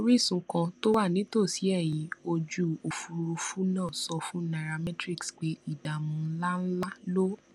orísun kan tó wà nítòsí ẹyìn ojú òfuurufú náà sọ fún nairametrics pé ìdààmú ńláǹlà ló